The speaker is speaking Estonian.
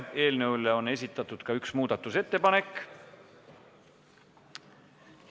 Eelnõu kohta on esitatud ka üks muudatusettepanek.